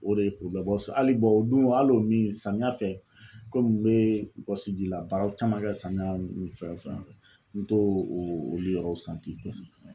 O de ye hali o dun hali o min samiya fɛ komi n bɛ wɔsijila baaraw caman kɛ samiya nun fɛn fɛn n to olu yɔrɔ nun kosɛbɛ.